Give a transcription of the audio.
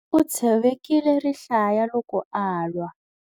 U tshovekile rihlaya loko a lwa.